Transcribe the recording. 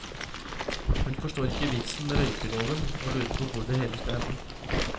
Hun forstår ikke vitsen med røykeloven, og lurer på hvor det hele skal ende.